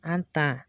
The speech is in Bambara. An ta